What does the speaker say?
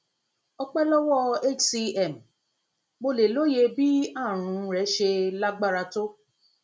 ọpẹ lọwọ hcm mo lè lóye bí àrùn rẹ ṣe lágbára tó